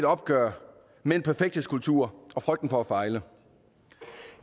opgør med en perfekthedskultur og frygten for at fejle